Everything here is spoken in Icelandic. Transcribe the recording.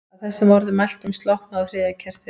Að þessum orðum mæltum slokknaði á þriðja kertinu.